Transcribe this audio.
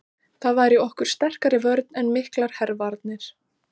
Það væri okkur sterkari vörn en miklar hervarnir.